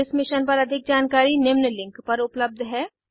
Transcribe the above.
इस मिशन पर अधिक जानकारी निम्न लिंक पर उपलब्ध है